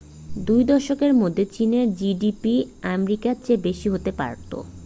দুই দশকের মধ্যে চীনের জিডিপি আমেরিকার চেয়ে বেশি হতে পারতো